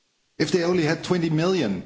If they only had 20 million!